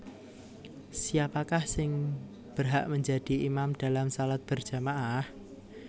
Siapakah sing berhak menjadi imam dalam shalat berjama ah